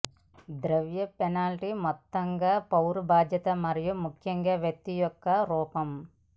ద్రవ్య పెనాల్టీ మొత్తంగా పౌర బాధ్యత మరియు ముఖ్యంగా వ్యక్తి యొక్క ఒక రూపం